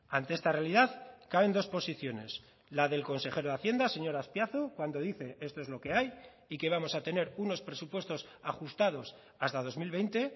ante esta realidad caben dos posiciones la del consejero de hacienda señor azpiazu cuando dice esto es lo que hay y que vamos a tener unos presupuestos ajustados hasta dos mil veinte